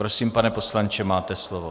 Prosím, pane poslance, máte slovo.